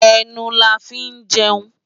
Enú là fi n jèun